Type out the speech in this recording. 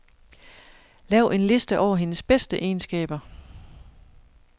Lav en liste over hendes bedste egenskaber.